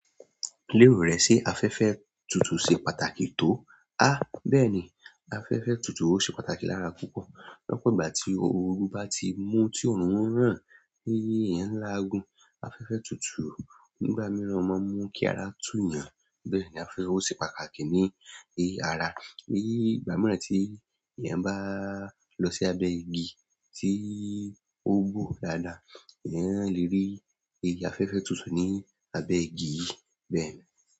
Lérò rẹ ṣe afẹ́fẹ́ tutù ṣe pàtàkì tó? Há bẹ́ẹ̀ni, afẹ́fẹ́ tutù o ṣe pàtàkì lára púpọ̀. Ní ọ̀pọ̀ ìgbà tí ooru bá ti mú tí òórùn n rán, ti eeyan ń lágun. Afẹ́fẹ́ tutù nígbà mìíràn máa ń mú kí ara túuyàn. Bẹ́ẹ̀ ni afẹ́fẹ́ o ṣe pàtàkì ní èyí ara. Ní ìgbà mìíràn tí èèyàn bá lọ sí abẹ́ igi tí ó gbóoro dáadáa, èèyàn lè rí iru afẹ́fẹ́ tutù ní abẹ́ igi yíì, bẹ́ẹ̀ ni.